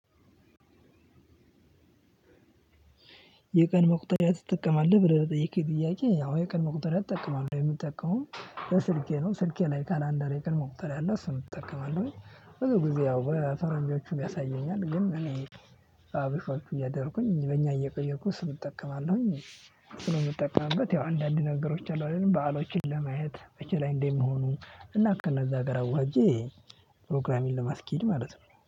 የቀን መቁጠሪያ ትጠቀማለህ ብለህ ለጠየቅከኝ ጥያቄ አወ የቀን መቁጠሪያ እጠቀማለሁ የምጠቀመውም በስልኬ ነው ስልኬ ላይ ካላንደር የቀን መቁጠርያ አለ እሱን እጠቀማለሁኝ። ብዙ ጊዜ ያው በፈረንጆቹ ያሳየኛል ግን እኔ በአበሻወቹ እያደረኩኝ በእኛ እየቀየርኩ እሱን እጠቀማለሁኝ። ስለምጠቀምበት ያው አንዳንድ ነገሮች አሉ አይደል በዓሎችን ለማየት መቺ ላይ እንደምሆኑ እና ከነዛ ጋር አዋህጀ። ፕሮግራሚን ለማስኬድ ማለት ነው